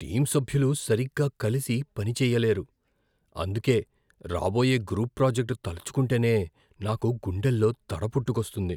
Team సభ్యులు సరిగ్గా కలిసి పని చెయ్యలేరు, అందుకే రాబోయే గ్రూప్ ప్రాజెక్ట్ తలుచుకుంటేనే నాకు గుండెల్లో దడ పుట్టుకొస్తుంది.